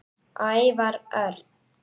Ævar Örn